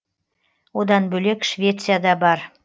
одан бөлек швеция да бар